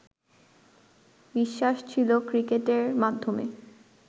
বিশ্বাস ছিলো ক্রিকেটের মাধ্যমে